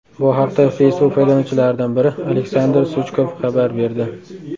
Bu haqda Facebook foydalanuvchilaridan biri Aleksandr Suchkov xabar berdi .